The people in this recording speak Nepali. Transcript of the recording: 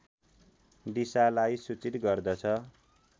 दिशालाई सूचित गर्दछ